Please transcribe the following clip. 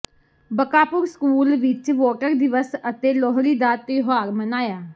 Bakapur school ਵਿਚ voter ਦਿਵਸ ਅਤੇ ਲੋਹੜੀ ਦਾ ਤਿਉਹਾਰ ਮਨਾਇਆ